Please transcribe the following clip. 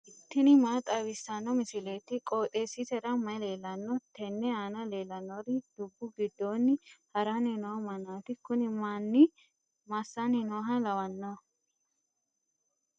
tini maa xawissanno misileeti? qooxeessisera may leellanno? tenne aana leellannori dubbu giddoonni haranni no mannaati kuni manni massanni nooha lawanno'ne?